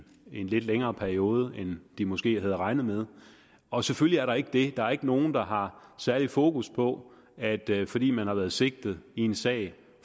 en lidt længere periode end de måske havde regnet med og selvfølgelig er der ikke det der er ikke nogen der har særligt fokus på at der fordi man har været sigtet i en sag